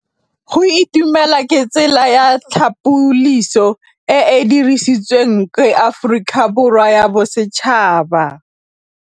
Go itumela ke tsela ya tlhapolisô e e dirisitsweng ke Aforika Borwa ya Bosetšhaba.